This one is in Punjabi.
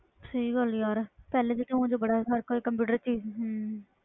ਸਹੀ ਗੱਲ ਯਾਰ ਪਹਿਲੇ ਵਿੱਚ ਬੜਾ ਫਰਕ ਆ ਕੰਪਿਊਟਰ